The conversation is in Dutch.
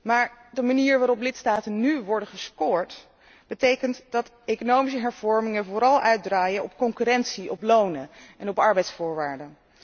Maar de manier waarop lidstaten nu worden geëvalueerd betekent dat economische hervormingen vooral uitdraaien op concurrentie, op lonen en op arbeidsvoorwaarden.